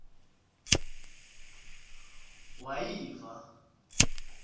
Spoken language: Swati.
wayiva